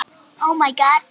Far vel!